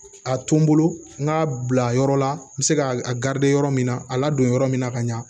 A to n bolo n k'a bila yɔrɔ la n be se ka a yɔrɔ min na a ladon yɔrɔ min na ka ɲa